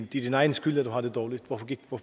din egen skyld at du har det dårligt